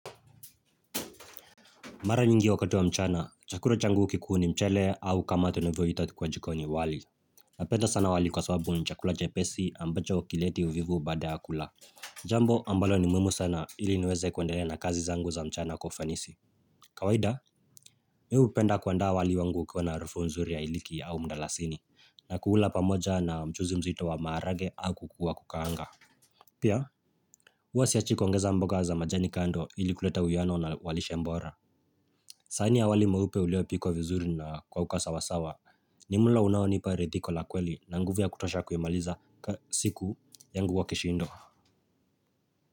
Mara nyingi wakati wa mchana, chakula changu kikuu ni mchele au kama tunovyo ita kwa jikoni wali. Napenda sana wali kwa sababu ni chakula chepesi ambacho hakileti uvivu baada ya kula. Jambo ambalo ni muhimu sana ili niweze kuendelea na kazi zangu za mchana kwa ufanisi. Kawaida, mi hupenda kuandaa wali wangu ukiwa na harufu nzuri ya hiliki au mdalasini. Na kuula pamoja na mchuzi mzito wa maharage au kuku wa kukaanga. Pia, huwa siachi kuongeza mboga za majani kando ili kuleta uwiano na wa lishe bora. Sahani ya wali mweupe ulio pikwa vizuri na kwa uka sawasawa ni mulo unaonipa ridhiko la kweli na nguvu ya kutosha kuimaliza siku yangu wa kishindo.